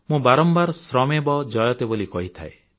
ମୁଁ ବାରମ୍ବାର ଶ୍ରମେବ ଜୟତେ ବୋଲି କହିଥାଏ